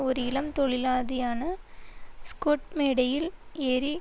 ஒரு இளம் தொழிலாதியான ஸ்கொட் மேடையில் ஏறி